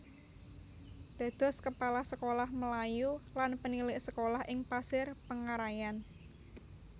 Dados Kepala Sekolah Melayu lan Penilik Sekolah ing Pasir Pengarayan